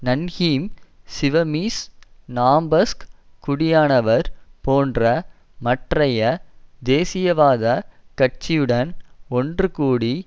நன்ஹீம் சிவமீஸ் நாம்பஸ்க் குடியானவர் போன்ற மற்றைய தேசியவாத கட்சியுடன் ஒன்று கூடி